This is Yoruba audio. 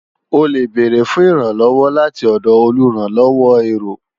O lè bèrè fún ìrànlọ́wọ́ láti ọ̀dọ̀ olùrànlọ́wọ́ èrò